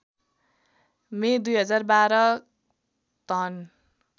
मे २०१२ धन